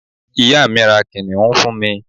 ìyá mi, ra kìnìún fún mi